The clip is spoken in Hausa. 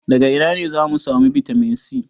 Daga ina za mu samu bitamin C?